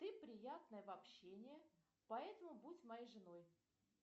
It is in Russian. ты приятная в общении поэтому будь моей женой